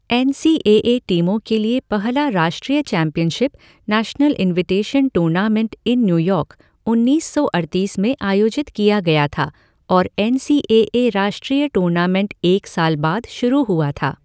N C A A टीमों के लिए पहला राष्ट्रीय championship, national invitation tournament in New York, उन्नीस सौ अड़तीस में आयोजित किया गया था और एन सी ए ए राष्ट्रीय टूर्नामेंट एक साल बाद शुरू हुआ था।